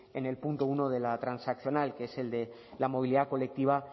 en el punto uno de la transaccional que es el de la movilidad colectiva